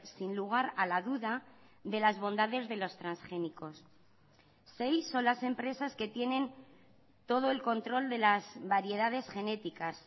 sin lugar a la duda de las bondades de los transgénicos seis son las empresas que tienen todo el control de las variedades genéticas